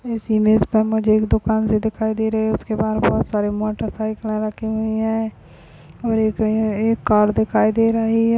इस इमेज में मुझे एक दुकान सी दिखाई दे रही है उसके बहार बहुत सारे मोटरसिक्ला रखी हुई है और एक एक कार दिखाई दे रही है।